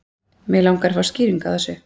Mig langar að fá skýringu á þessu.